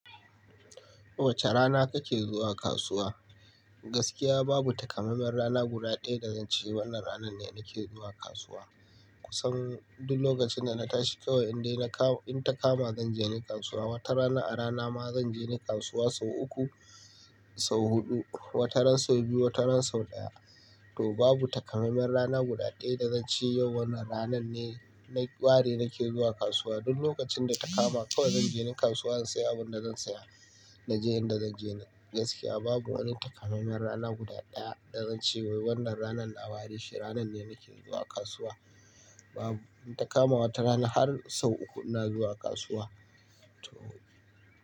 Wace rana kake zuwa kasuwa? Gaskiya babu takamaimen rana guda ɗaya da zan ce wannan ranan ne nake zuwa kasuwa. Kusan duk lokacin da nata shi kawai in dai na kawo, in ta kama zan je ni kasuwa. Wata rana a rana ma zan je dai kasuwa sau uku, sau huɗu, wata ran sau biyu, wata ran sau ɗaya. To babu takamaimen rana guda ɗaya da zan ce yau wannan ranan ne na, ware nake zuwa kasuwa. Duk lokacin da ta kama kawai zan je ni kasuwa in saya abin da zan saya, na je inda zan je ni. Gaskiya babu wani takamaimen rana guda ɗaya da zan ce wai wannan ranan na ware shi, ranan ne nake zuwa kasuwa. Babu, in ta kama wata rana har sau uku ina zuwa kasuwa. To.